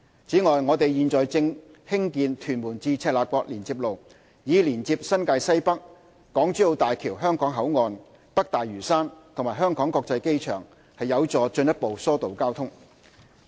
此外，我們現正興建屯門至赤鱲角連接路，以連接新界西北、港珠澳大橋香港口岸、北大嶼山和香港國際機場，有助進一步疏導交通。